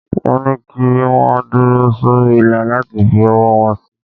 Wọ́n ní kí wọ́n dúró sórí ìlà láti fi owó wọn sí.